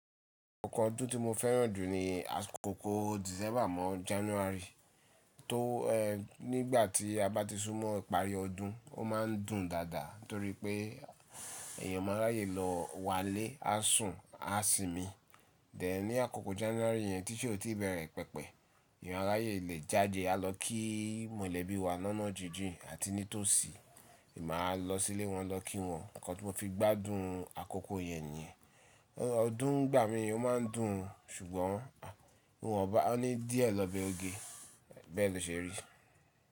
Oko ọdún tí mo fẹ́ràn jù ni àsi koko December mọ January. Tó ẹẹ, nígbà tí a bá ti sún mọ ìparí ọdún, ó ma ń dùn dáadáa torí pé èèyàn máa ráyè lọ wá n ilé, á sùn, á sinmi. Then ní àkoko January yẹn tí isẹ ò ti bẹ̀rẹ̀ pẹpẹ, èèyàn á ráyè le jáde, á lọ kí mọ̀lẹ́bí wa lọná jijin àti ní tòsí, è máa lọ sílé wọn lọ kí wọn. Ẹ̀kọ́ tí mo fi gbádùn àkọ́kọ́ yẹn nìyẹn. Ọdún n gbà mí ò ma ń dùn, ṣùgbọ́n à, wọ́n bá wọn ní díẹ̀ lọ́ bẹ oge, bẹ́ẹ̀ lo ṣe rí.